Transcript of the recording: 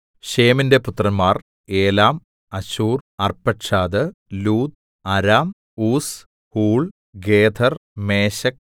ശേമിന്റെ പുത്രന്മാർ Elam Asshur Arphaxad Lud Aram Uz Hul Gether Meshech